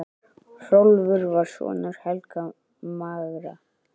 Hrólfur var sonur Helga magra.